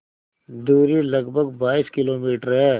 दूरी लगभग बाईस किलोमीटर है